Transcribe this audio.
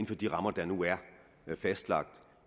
for de rammer der nu er fastlagt